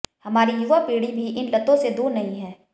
हमारी युवा पीढ़ी भी इन लतों से दूर नहीं है